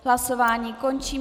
Hlasování končím.